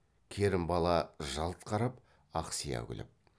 керімбала жалт қарап ақсия күліп